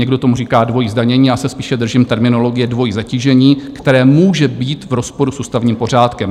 Někdo tomu říká dvojí zdanění, já se spíše držím terminologie dvojí zatížení, které může být v rozporu s ústavním pořádkem.